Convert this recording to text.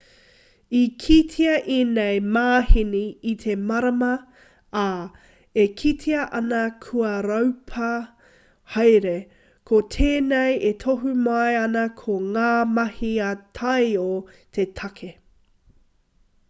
i kitea ēnei māheni i te marama ā e kitea ana kua raupā haere ko tēnei e tohu mai ana ko ngā mahi ā-taiao te take